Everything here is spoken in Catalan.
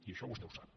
i això vostè ho sap